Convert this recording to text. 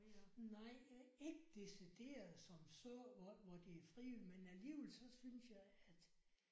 Nej øh ikke decideret som så hvor hvor det er frie men alligevel så synes jeg at